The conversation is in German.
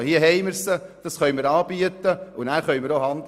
Diese könnte man anbieten, um dann auch handeln zu können.